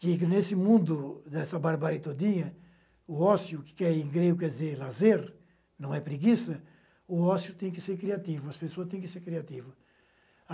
que nesse mundo nessa barbárie todinha, o ócio, que em grego quer dizer lazer, não é preguiça, o ócio tem que ser criativo, as pessoas têm que ser criativas.